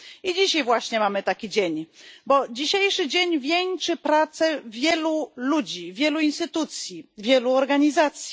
Dzisiaj właśnie mamy taki dzień, bo dzisiejszy dzień wieńczy pracę wielu ludzi, wielu instytucji, wielu organizacji.